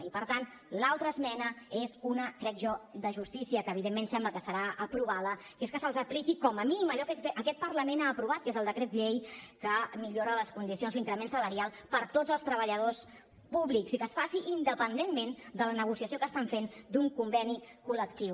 i per tant l’altra esmena és una crec jo de justícia que evidentment sembla que serà aprovada que és que se’ls apliqui com a mínim allò que aquest parlament ha aprovat que és el decret llei que millora les condicions l’increment salarial per a tots els treballadors públics i que es faci independentment de la negociació que estan fent d’un conveni col·lectiu